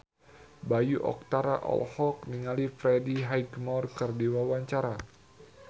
Bayu Octara olohok ningali Freddie Highmore keur diwawancara